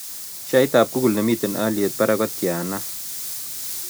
Sheaitap google nemiten alyeet barak kotiana